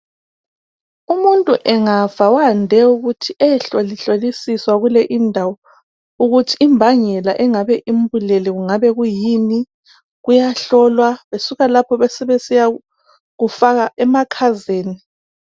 Umuntu angafa wande ukuthi ayehlolihlolisiswa kule indawo, ukuthi imbangela engabe imbulele kungabe kuyini, kuyahlolwa besuka lapho besebesiya kufaka emakhazeni.